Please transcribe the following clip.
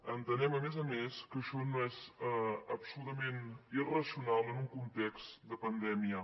entenem a més a més que això és absolutament irracional en un context de pandèmia